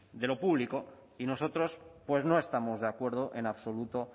de lo público y nosotros pues no estamos de acuerdo en absoluto